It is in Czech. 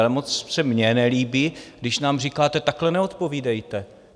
Ale moc se mně nelíbí, když nám říkáte: Takhle neodpovídejte.